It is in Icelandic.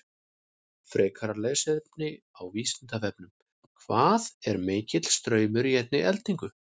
Frekara lesefni á Vísindavefnum: Hvað er mikill straumur í einni eldingu?